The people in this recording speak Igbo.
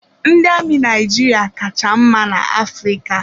Ndị amị Naijiria ka cha mma na-Afrịka.